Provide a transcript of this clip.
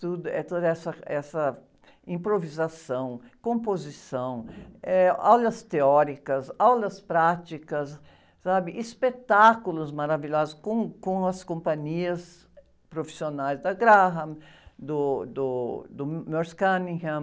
Tudo, eh, toda essa, essa improvisação, composição, eh, aulas teóricas, aulas práticas, sabe? Espetáculos maravilhosos com, com as companhias profissionais da Graham, do, do, do Merce Cunningham,